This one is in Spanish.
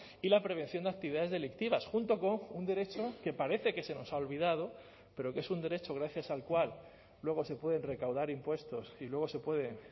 y la prevención de actividades delictivas junto con un derecho que parece que se nos ha olvidado pero que es un derecho gracias al cual luego se pueden recaudar impuestos y luego se puede